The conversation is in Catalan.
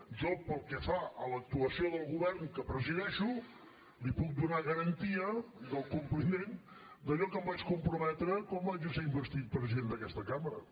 jo pel que fa a l’actuació del govern que presideixo li puc donar garantia del compliment d’allò que em vaig comprometre quan vaig ésser investit president d’aquesta cambra